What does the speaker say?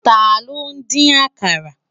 Tàló n din ákàrá?